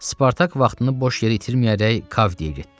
Spartak vaxtını boş yerə itirməyərək Kavdiyə getdi.